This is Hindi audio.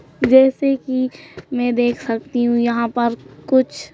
जैसे कि मैं देख सकती हूं यहां पर कुछ--